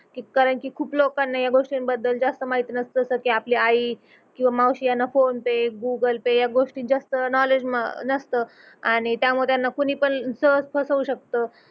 की कारण की खूप लोकांना या गोष्टींबद्दल जास्त माहिती नसत तर ते आपली आई किंवा मावशी यांना फोन पे, गूगल पे या गोष्टी जास्त नोवलेड्ज नसत आणि त्यामुळे त्यांना कुणीपण सहज फसवू शकत